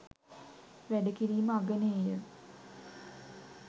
වැඩ කිරීම අගනේය.